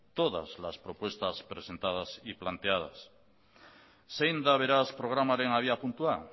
todas las propuestas presentadas y planteadas zein da beraz programaren abiapuntua